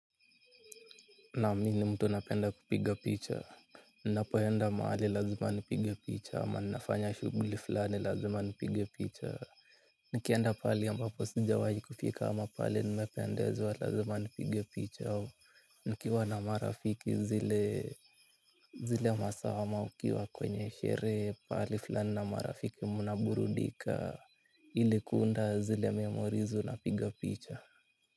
Naam mimi ni mtu napenda kupiga picha. Ninapo enda mahali lazima nipige picha ama ninafanya shughuli flani lazima nipige picha. Nikienda pahali ambapo sijawai kufika ama pahali nimependezwa lazima nipige picha au nikiwa na marafiki zile zile masaa ama mkiwa kwenye sherehe pahali flani na marafiki mnaburudika ili kuunda zile memori unapiga picha.